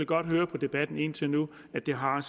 godt høre på debatten indtil nu at det har